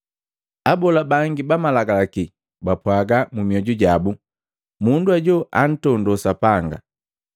Abola bangi ba Malagalaki bapwaga mu mioju jabu, “Mundu hajo antondo Sapanga!”